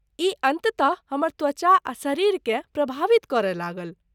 ई अन्ततः हमर त्वचा आ शरीरकेँ प्रभावित करय लागल।